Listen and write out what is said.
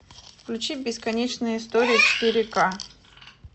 включи бесконечная история четыре ка